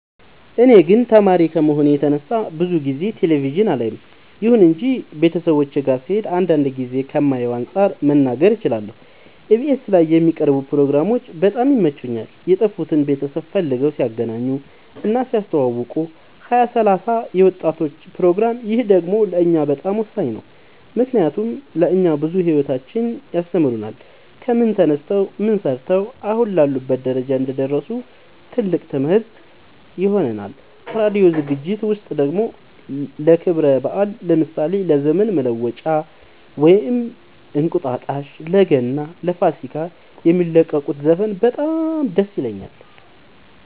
እኔ ግን ተማሪ ከመሆኔ የተነሳ ብዙ ጊዜ ቴሌቪዥን አላይም ይሁን እንጂ ቤተሰቦቼ ጋ ስሄድ አንዳንድ ጊዜ ከማየው አንፃር መናገር እችላለሁ ኢቢኤስ ላይ የሚቀርቡ ፕሮግራሞች በጣም ይመቹኛል የጠፉትን ቤተሰብ ፈልገው ሲያገናኙ እና ሲያስተዋውቁ ሀያ ሰላሳ የወጣቶች ፕሮግራም ይህ ደግሞ ለእኛ በጣም ወሳኝ ነው ምክንያቱም ለእኛ ብዙ ሂወታቸውን ያስተምሩናል ከምን ተነስተው ምን ሰርተው አሁን ላሉበት ደረጃ እንደደረሱ ትልቅ ትምህርት ይሆነናል ከራዲዮ ዝግጅት ውስጥ ደግሞ ለክብረ በአል ለምሳሌ ለዘመን መለወጫ ወይም እንቁጣጣሽ ለገና ለፋሲካ የሚለቁት ዘፈን በጣም ደስ ይለኛል